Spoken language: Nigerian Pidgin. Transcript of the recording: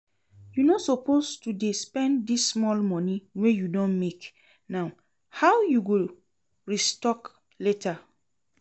You no suppose to dey spend dis small money wey you don make now, how you go restock later?